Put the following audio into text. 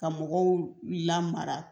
Ka mɔgɔw lamara